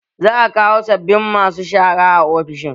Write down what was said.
Za a kawo sabbabin masu shara a ofishin